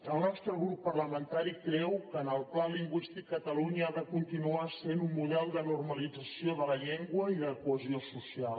el nostre grup parlamentari creu que en el pla lingüístic catalunya ha de continuar sent un model de normalització de la llengua i de cohesió social